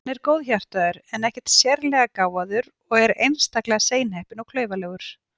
Hann er góðhjartaður en ekkert sérlega gáfaður og er einstaklega seinheppinn og klaufalegur.